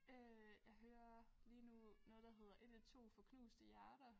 Øh jeg hører lige nu noget der hedder 112 for knuste hjerter